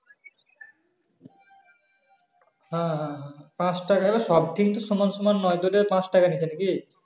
হ্যাঁ হ্যাঁ হ্যাঁ পাচ টাকা সব কিন্তু সমান সমান নয় তো পাচ টাকা নিচ্ছে নাকি?